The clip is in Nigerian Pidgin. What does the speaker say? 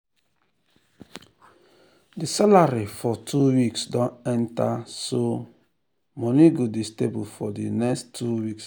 plenti investors dey settle for small small returns because dem dey make quick decisions and dem no dey think well.